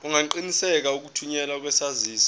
ungaqinisekisa ukuthunyelwa kwesaziso